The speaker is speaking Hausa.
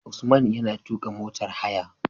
Usman yana tuƙa motar haya